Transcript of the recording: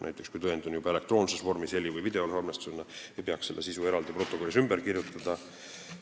Näiteks siis, kui tõend on juba olemas elektroonses vormis heli- või videosalvestisena, ei peaks selle sisu protokollis ümber kirjutama.